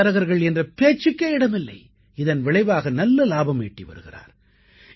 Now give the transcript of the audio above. இடைத்தரகர்கள் என்ற பேச்சுக்கே இடமில்லை இதன் விளைவாக நல்ல இலாபம் ஈட்டி வருகிறார்